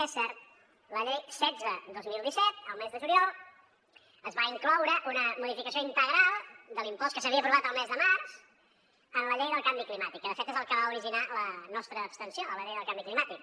és cert a la llei setze dos mil disset al mes de juliol es va incloure una modificació integral de l’impost que s’havia aprovat al mes de març en la llei del canvi climàtic que de fet és el que va originar la nostra abstenció a la llei del canvi climàtic